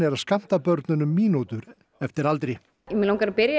að skammta börnunum mínútur eftir aldri mig langar að byrja